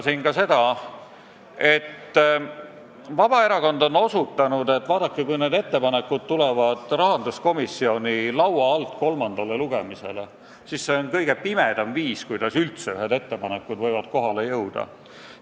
Tuleb tunnistada, et Vabaerakond on osutanud, et kui need ettepanekud tulevad rahanduskomisjoni laualt kolmandale lugemisele, siis see on kõige pimedam viis, kuidas üldse ühed ettepanekud võivad kohale jõuda.